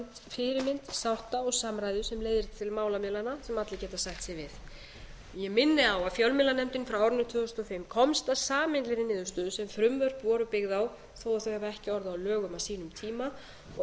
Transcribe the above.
fyrirmynd sátta og samræðu sem leiðir til málamiðlana sem allir geta sætt sig við ég minni á að fjölmiðlanefndin frá árinu tvö þúsund og fimm komst að sameiginlegri niðurstöðu sem frumvörp voru byggð á þó að þau hafi ekki orðið lögum á sínum tíma og